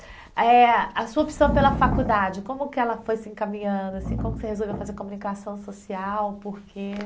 eh a sua opção pela faculdade, como que ela foi se encaminhando, assim, como que você resolveu fazer comunicação social, por quê?